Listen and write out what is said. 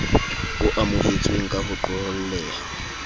o amohetsweng ka ho qoholleha